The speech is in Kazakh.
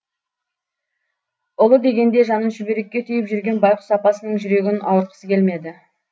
ұлы дегенде жанын шүберекке түйіп жүрген байқұс апасының жүрегін ауыртқысы келмеді